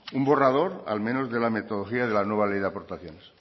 un borrador al menos de la metodología de la nueva ley de aportaciones